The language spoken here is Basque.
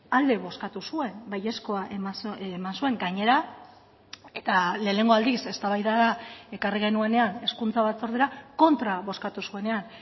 alde bozkatu zuen baiezkoa eman zuen gainera eta lehenengo aldiz eztabaidara ekarri genuenean hezkuntza batzordera kontra bozkatu zuenean